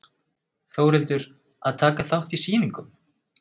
Þórhildur: Að taka þátt í sýningum?